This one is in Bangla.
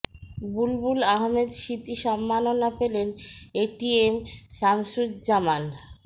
বুলবুল আহমেদ স্মৃতি সম্মাননা পেলেন এ টি এম শামসুজ্জামান